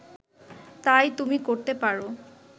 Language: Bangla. তাই তুমি করতে পার